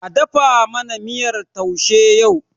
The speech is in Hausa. A dafa mana miyar taushe yau.!